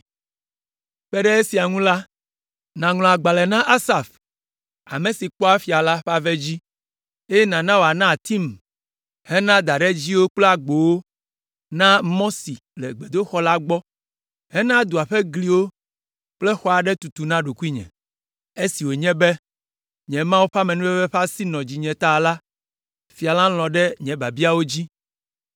Kpe ɖe esia ŋu la, nàŋlɔ agbalẽ na Asaf, ame si kpɔa fia la ƒe ave dzi, eye nàna wòana atim hena daɖedziwo kple agbowo na mɔ si le gbedoxɔ la gbɔ, hena dua ƒe gliwo kple xɔ aɖe tutu na ɖokuinye.” Esi wònye be, nye Mawu ƒe amenuveve ƒe asi nɔ dzinye ta la, fia la lɔ̃ ɖe nye biabiawo dzi.